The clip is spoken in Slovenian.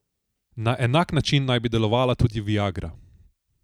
Na enak način naj bi delovala tudi viagra.